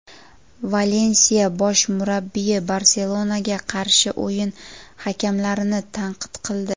"Valensiya" bosh murabbiyi "Barselona"ga qarshi o‘yin hakamlarini tanqid qildi.